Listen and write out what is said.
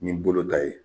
Ni bolo ta ye